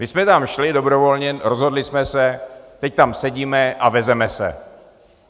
My jsme tam šli dobrovolně, rozhodli jsme se, teď tam sedíme a vezeme se.